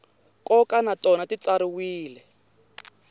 nkoka na tona ti tsariwile